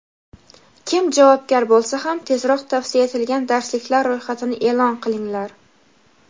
kim javobgar bo‘lsa ham tezroq tavsiya etilgan darsliklar ro‘yxatini e’lon qilinglar.